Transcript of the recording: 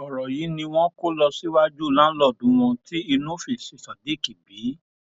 ọrọ yìí ni wọn kó lọ síwájú láńlọọdù wọn tí inú fi ṣí sodiq bí